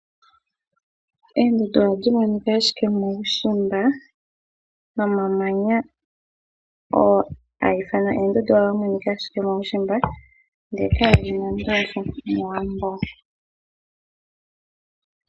Oondundu ohadhi monika ashike muushimba, nomamanya ngoka haga ithanwa oondundu ohaga monika ashike muushimba, ndele kadhimo mOwambo.